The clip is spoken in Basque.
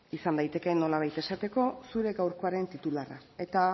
izan daiteke nolabait esateko zure gaurkoaren titularra eta